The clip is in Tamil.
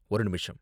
ஒரு நிமிஷம்.